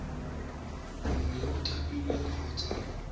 mongwe yo o thapilweng kgotsa